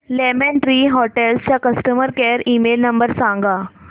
lemon Tree Hotels चा customer care email number सांगा